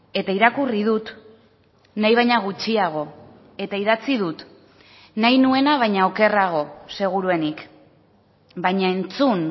eta irakurri dut nahi baina gutxiago eta idatzi dut nahi nuena baina okerrago seguruenik baina entzun